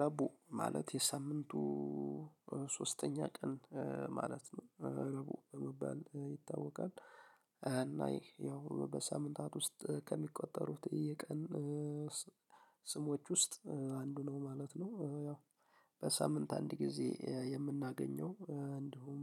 ረቡዕ ማለት የሳምንቱ ሶስተኛ ቀን ማለት ነው። ረቡዕ በመባል ይታወቃል። እና ይሄ ያው በሳምንታት ውስጥ ከሚቆጠሩት የቀን ስሞች ውስጥ አንዱ ነው ማለት ነው። ያው በሳምንት አንድ ጊዜ የምናገኘው እንዲሁም